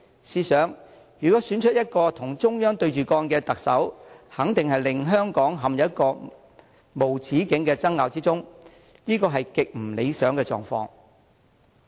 試想，如果選出一個與中央對着幹的特首，肯定會令香港陷入無止境的爭拗中。這是極不理想的狀況。